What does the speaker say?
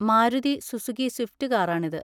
Maruti Suzuki Swift കാറാണിത്.